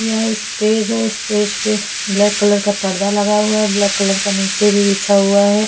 यह स्टेज है स्टेज पे ब्लैक कलर का पर्दा लगा हुआ है ब्लैक कलर का नीचे भी बिछा हुआ है।